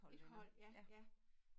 Et hold ja ja